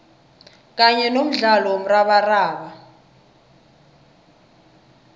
kanye nomdlalo womrabaraba